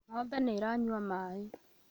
Ng'ombe nĩ ĩranyua maĩ